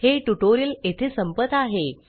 हे ट्यूटोरियल येथे संपत आहे